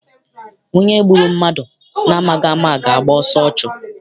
Onye gburu mmadụ na amaghị ama ga- agba ọsọ ọchụ.